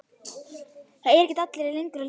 Á þeim báti var hann formaður og gekk vel.